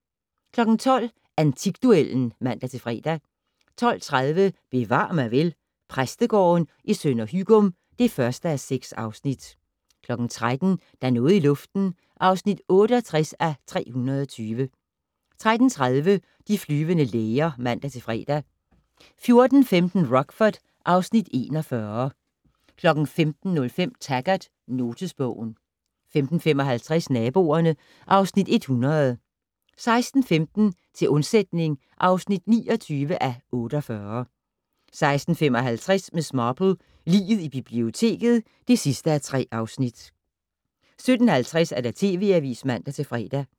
12:00: Antikduellen (man-fre) 12:30: Bevar mig vel: Præstegården i Sønder Hygum (1:6) 13:00: Der er noget i luften (68:320) 13:30: De flyvende læger (man-fre) 14:15: Rockford (Afs. 41) 15:05: Taggart: Notesbogen 15:55: Naboerne (Afs. 100) 16:15: Til undsætning (29:48) 16:55: Miss Marple: Liget i biblioteket (3:3) 17:50: TV Avisen (man-fre)